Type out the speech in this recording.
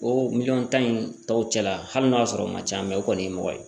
O miliyɔn tan in tɔ cɛla hali n'o y'a sɔrɔ o man ca mɛ o kɔni ye mɔgɔ ye